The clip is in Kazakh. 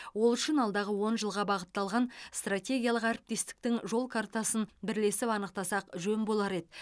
ол үшін алдағы он жылға бағытталған стратегиялық әріптестіктің жол картасын бірлесіп анықтасақ жөн болар еді